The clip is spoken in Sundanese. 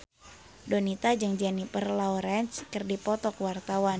Donita jeung Jennifer Lawrence keur dipoto ku wartawan